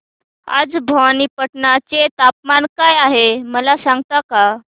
आज भवानीपटना चे तापमान काय आहे मला सांगता का